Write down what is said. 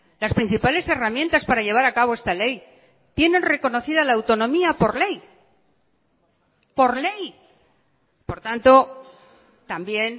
las principales herramientas para llevar a cabo esta ley tienen reconocida la autonomía por ley por ley por tanto también